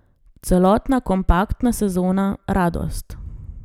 Celotna kompaktna sezona, radost.